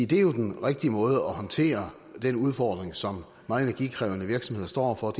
det er jo den rigtige måde at håndtere den udfordring som meget energikrævende virksomheder står over for